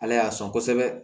Ala y'a sɔn kosɛbɛ